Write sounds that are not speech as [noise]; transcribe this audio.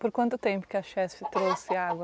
Por quanto tempo que a [unintelligible] trouxe água?